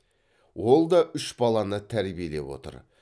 ол да үш баланы тәрбиелеп отыр